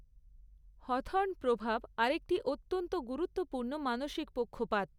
Hawthorne প্রভাব আরেকটি অত্যন্ত গুরুত্বপূর্ণ মানসিক পক্ষপাত।